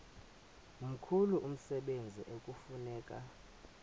mkhulu umsebenzi ekufuneka